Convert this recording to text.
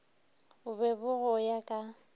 bo be go ya ka